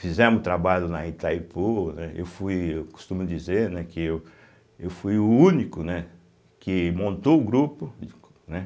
Fizemos trabalho na Itaipu, né eu fui eu costumo dizer, né que eu eu fui o único né que montou o grupo e co né